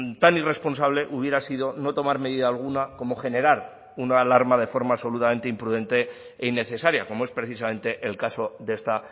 tan irresponsable hubiera sido no tomar medida alguna como generar una alarma de forma absolutamente imprudente e innecesaria como es precisamente el caso de esta